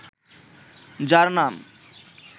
যার নাম